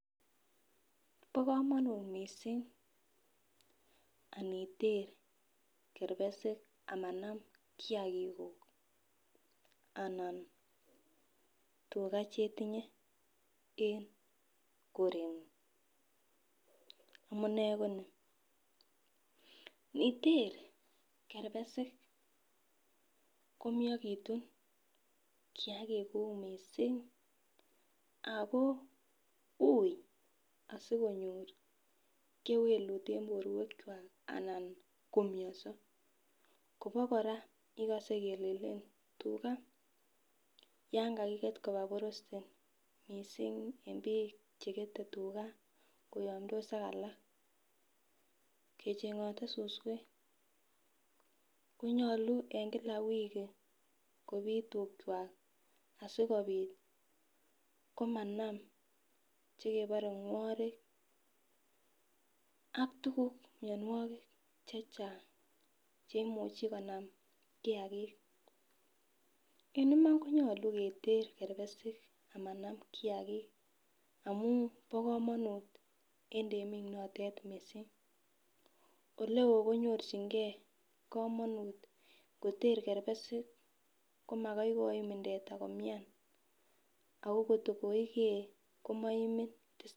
Bo komonut missing aniter kerpesik amanam kiyagik kuk anan tugaa chetinye en korengung amunee ko nii niter kerpesik komiokitun kiyagik kuk missing ako ui asikonyoe kewelut en borwek kwak ana ko miondo Kobo koraa ikose kelelen tugaa yon kakiget koba boreste missing en bik chekete tugaa kochengote suswek konyolu en Kila wiki kopit tukwak asikopit komanam chekebore ngworik ak tukuk mionwek chechang cheimuche konam kiyagik . En iman konyolu keter kerpesik amanam kiyagik amun bo komonut en temik notet missing, oleo konyorchigee komonut mgoter kerpesik komakai komii teta komian Ako kotko koigee komoimin.